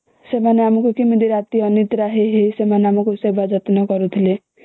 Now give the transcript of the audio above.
ସେମାନେ ଆମକୁ କେମିତି ରାତି ଅନିଦ୍ରା ହେଇ ହେଇ ସେବା କରୁଥିଲେ